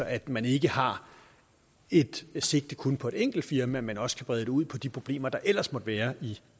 at man ikke har et sigte kun på et enkelt firma men også kan brede det ud på de problemer der ellers måtte være i